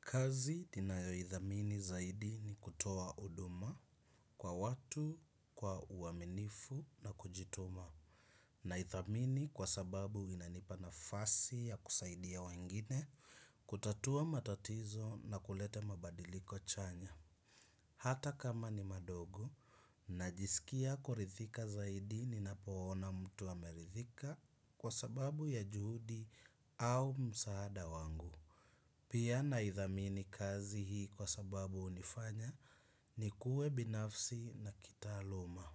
Kazi ninayo idhamini zaidi ni kutoa huduma kwa watu, kwa uwaminifu na kujituma. Na idhamini kwa sababu inanipa nafasi ya kusaidia wengine, kutatua matatizo na kulete mabadiliko chanya. Hata kama ni madogo, najisikia kuridhika zaidi ninapoona mtu ameridhika, kwa sababu ya juhudi au msaada wangu. Pia na idhamini kazi hii kwa sababu hunifanya nikuwe binafsi na kitaaluma.